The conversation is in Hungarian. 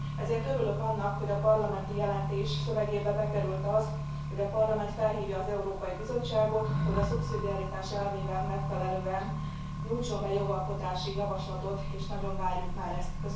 Ezért örülök annak, hogy a parlamenti jelentés szövegébe bekerült az, hogy a Parlament felhívja az Európai Bizottságot, hogy a szubszidiaritás elvével megfelelően nyújtson be jogalkotási javaslatot, és nagyon várjuk már ezt!